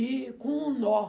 E com um nó.